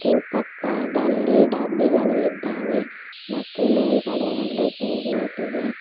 ಮತ್ತು ಪಕ್ಕದಲ್ಲಿ ಡಬ್ಬಿಗಳು ಇದ್ದಾವೆ ಮತ್ತು ಮೇಲ್ಗಡೆ ಒಂದು ಟ್ಯೂಬ್ ಲೈಟ್ ಇದೆ.